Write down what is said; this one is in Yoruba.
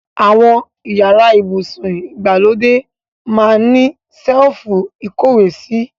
Awon iyara ibusun igbalode maa n ni selifu ikowesi